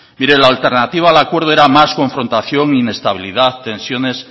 mire la alternativa al acuerdo era más confrontación inestabilidad tensiones